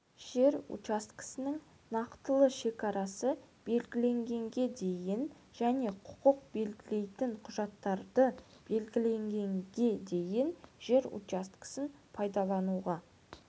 жер учаскесінің нақтылы шекарасы белгіленгенге дейін және құқық белгілейтін құжаттарды берілгенге дейін жер учаскесін пайдалануға